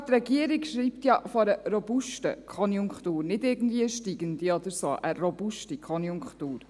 Sogar die Regierung schreibt ja von einer «robusten Konjunktur», nicht irgendwie von einer steigenden oder so, sondern von einer «robusten Konjunktur».